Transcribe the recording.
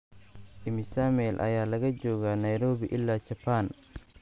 imisa mayl ayaa laga joogaa nairobi ilaa japan